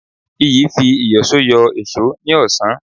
Iyì fi ìyọ̀sọ́ yọ èṣó ní ọ̀sán